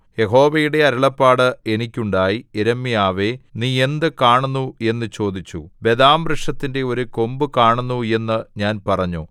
യഹോവയുടെ അരുളപ്പാട് എനിക്കുണ്ടായി യിരെമ്യാവേ നീ എന്ത് കാണുന്നു എന്ന് ചോദിച്ചു ബദാം ജാഗ്രത് വൃക്ഷത്തിന്റെ ഒരു കൊമ്പ് കാണുന്നു എന്നു ഞാൻ പറഞ്ഞു